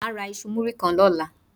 Má a ra iṣu muri kan lóla